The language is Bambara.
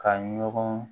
Ka ɲɔgɔn